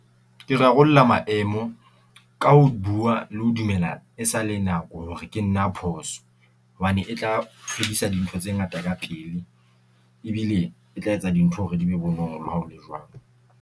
Ke rarollla maemo ka ho bua le ho dumela e sa le nako hore ke nna a phoso. Hobane e tla tlodisa dintho tse ngata ka pele, ebile e tla etsa dintho hore di be bonolo ha ho lo jwalo.